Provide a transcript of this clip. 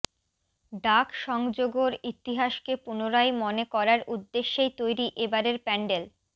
ডাক সংযোগর ইতিহাসকে পুনরায় মনে করার উদ্দেশ্যেই তৈরি এবারের প্যান্ডেল